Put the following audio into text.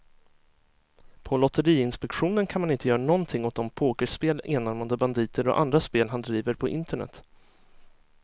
På lotteriinspektionen kan man inte göra någonting åt de pokerspel, enarmade banditer och andra spel han driver på internet.